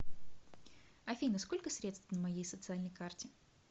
афина сколько средств на моей социальной карте